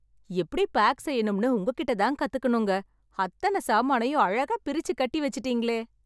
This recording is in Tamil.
எப்டி பேக் செய்யணும்னு உங்ககிட்டதான் கத்துக்கணும்ங்க... அத்தன சாமானயும் அழகா பிரிச்சி கட்டி வெச்சுட்டீங்களே...